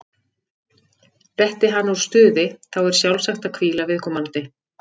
Detti hann úr stuði, þá er sjálfsagt að hvíla viðkomandi.